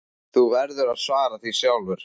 Þú verður að svara því sjálfur.